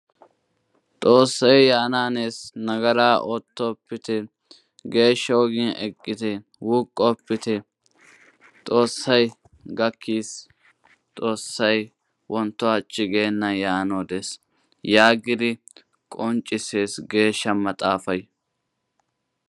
xoosay yaanaanees nagaraa ootopite geesha ogiyan eqite wuuqoppite xoosay gakkis xoosay wonto hachi geenan yaanawu des yaagid qonccisiis geeshsha maxaafay